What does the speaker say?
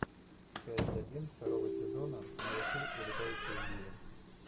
часть один второго сезона малыши и летающие звери